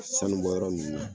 Sanubɔyɔrɔ ninnu na